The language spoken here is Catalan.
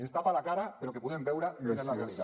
ens tapa la cara però que puguem veure quina és la realitat